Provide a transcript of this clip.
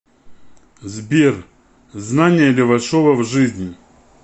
сбер знания левашова в жизни